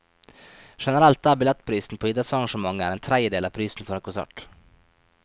Generelt er billettprisen på idrettsarrangementer en tredjedel av prisen for en konsert.